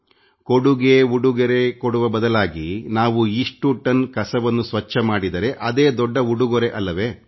ಕೊಡುಗೆ ಉಡುಗೊರೆ ಕೊಡುವ ಬದಲಾಗಿ ನಾವು ಇಷ್ಟು ಟನ್ ಕಸವನ್ನು ಸ್ವಚ್ಛ ಮಾಡಿದರೆ ಅದೇ ದೊಡ್ಡ ಉಡುಗೊರೆ ಅಲ್ಲವೇ